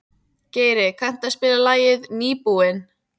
Geiri, kanntu að spila lagið „Nýbúinn“?